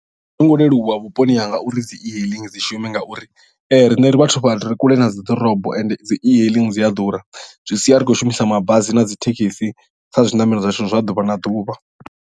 Azwo ngo leluwa vhuponi hanga uri dzi e hailing dzi shume ngauri riṋe ri vhathu vha re kule na dzi ḓorobo ende dzi e hailing dzi a ḓura zwi sia ri khou shumisa mabasi na dzi thekhisi kha zwiṋamelo zwa zwithu zwa ḓuvha na ḓuvha.